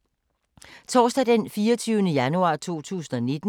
Torsdag d. 24. januar 2019